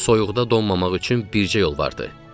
Soyuqda donmamaq üçün bircə yol vardı.